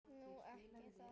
Nú. ekki það?